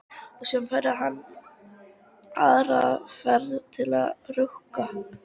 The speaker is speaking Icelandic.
Og síðan færi hann aðra ferð til að rukka.